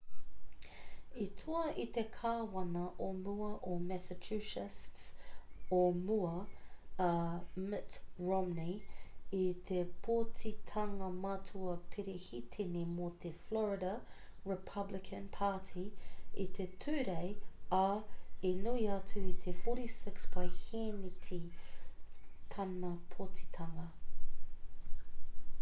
i toa i te kāwana o mua o massachusetts o mua,a mitt romney i te pōtitanga matua perehitene mō te florida republican party i te tūrei ā i nui atu i te 46 paehēneti tāna pōtitanga